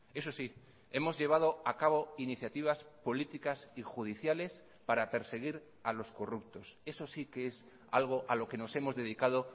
eso sí hemos llevado a cabo iniciativas políticas y judiciales para perseguir a los corruptos eso si que es algo a lo que nos hemos dedicado